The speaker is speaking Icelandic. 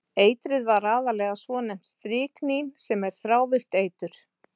Eitrið var aðallega svonefnt stryknín sem er þrávirkt eitur.